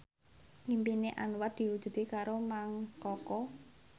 impine Anwar diwujudke karo Mang Koko